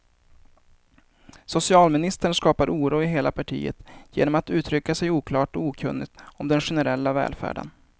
Socialministern skapar oro i hela partiet genom att uttrycka sig oklart och okunnigt om den generella välfärden.